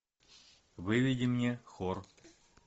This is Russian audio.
выведи мне хор